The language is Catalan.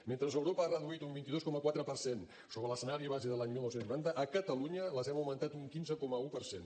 mentre europa ha reduït un vint dos coma quatre per cent sobre l’escenari base de l’any dinou noranta a catalunya les hem augmentat un quinze coma un per cent